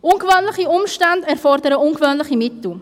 Ungewöhnliche Umstände erfordern ungewöhnliche Mittel.